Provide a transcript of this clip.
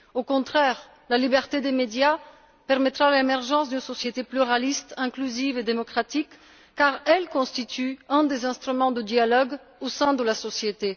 Au contraire, la liberté des médias permettra l'émergence d'une société pluraliste inclusive et démocratique, car elle constitue un des instruments de dialogue au sein de la société.